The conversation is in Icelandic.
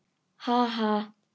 Ha ha.